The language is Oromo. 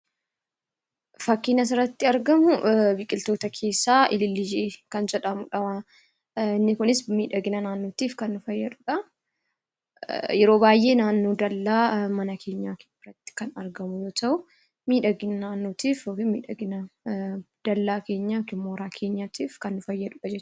Fakkiin as irratti argamuu biqiltoota leessa 'Iliillii' kan jedhamuudha. Inni kunis midhaginaa naannoottif kan nuu faayaduudha. Yeroo baay'ee naannoo dallaa/gibbii keenyaa irratti kan argamu yoo ta'u midhaginaa naannootiif yookiin midhaginaa dallaa keenyaa yookiin mooraa keenyatiif kan nuu faayaduudha jechuudha.